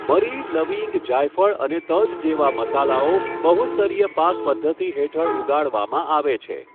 મરી, લવિંગ, જાયફળ અને તજ જેવા મસાલાઓ બહુસ્તરીય પાક પદ્ધતિ હેઠળ ઉગાડવામાં આવે છે.